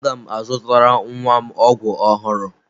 Aga m azụtara nwa m ọgwụ ọhụrụ.